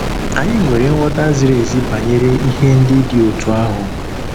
Anyị nwere nghọta ziri ezi banyere ihe ndị dị otú ahụ.